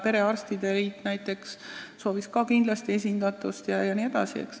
Näiteks perearstide selts soovis ka kindlasti esindatust.